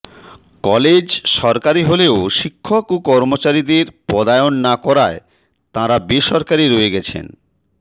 college সরকারি হলেও শিক্ষক ও কর্মচারীদের পদায়ন না করায় তাঁরা বেসরকারি রয়ে গেছেন